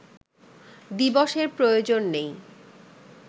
দিবসের প্রয়োজন নেই